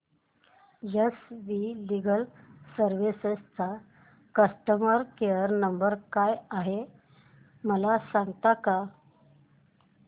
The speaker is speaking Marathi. एस वी लीगल सर्विसेस चा कस्टमर केयर नंबर काय आहे मला सांगता का